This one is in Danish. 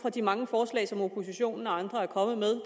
af de mange forslag som oppositionen og andre er kommet med